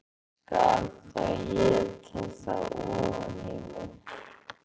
Skal þá éta það ofan í mig